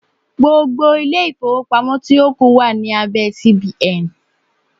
Gbogbo ilé-ìfowópamọ́ tí ó kù wà ní abẹ́ CBN.